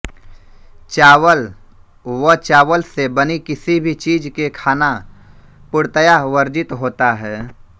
चावल व चावल से बनी किसी भी चीज के खाना पूर्णतया वर्जित होता है